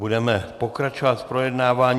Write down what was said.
Budeme pokračovat v projednávání.